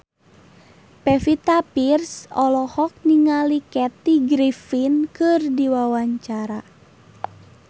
Pevita Pearce olohok ningali Kathy Griffin keur diwawancara